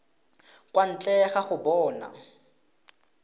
kwa ntle ga go bona